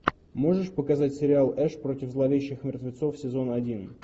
можешь показать сериал эш против зловещих мертвецов сезон один